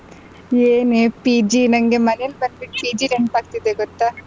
ಏನೇ PG ನಂಗೆ ಮನೆಗ್ ಬಂದ್ಬಿಟ್ಟು PG ನೆನಪಾಗ್ತಿದೆ ಗೊತ್ತ